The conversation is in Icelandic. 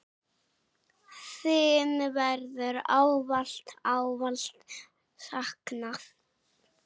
Þín verður ávallt, ávallt saknað.